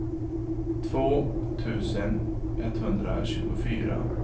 två tusen etthundratjugofyra